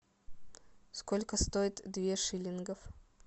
сколько стоит две шиллингов